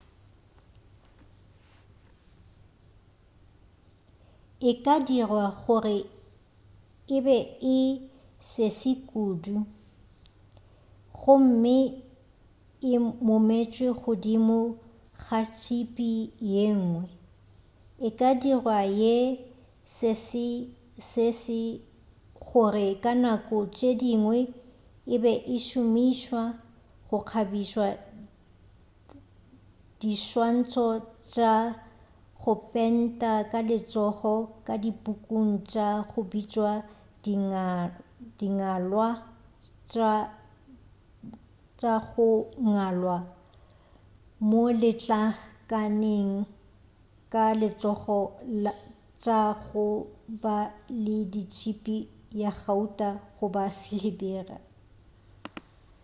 e ka dirwa gore e be e sese kudu gomme e mometšwe godimo ga tšhipi yengwe e ka dirwa ye sesesese gore ka nako tše dingwe e be e šomišwa go kgabiša diswantšho tša go pentwa ka letsogo ka dipukung tša go bitšwa dingwalwa tša go ngwalwa mo letlakaleng ka letsogo tša go ba le tšhipi ya gauta goba silibere